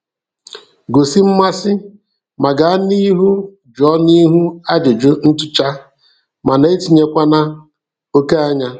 Gosi mmasị, ma gaa n'ihu jụọ n'ihu ajụjụ ntụcha, mana etinyekwana oké anya.